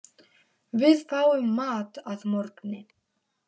Við fáum mat að morgni.